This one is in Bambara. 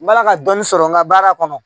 N b'ala ka dɔɔnin sɔrɔ n ka baara kɔnɔ